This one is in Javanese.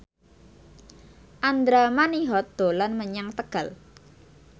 Andra Manihot dolan menyang Tegal